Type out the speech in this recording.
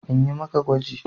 In yi maka gwaji?